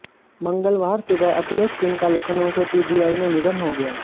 मंगलवार सुबह अखिलेश सिंह का लखनऊ के पीजीआई में निधन हो गया